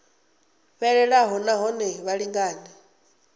fhelelaho na hone vha lingane